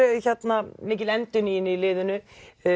mikil endurnýjun í liðinu